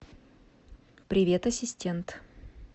привет ассистент